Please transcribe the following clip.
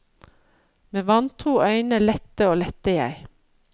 Med vantro øyne lette og lette jeg.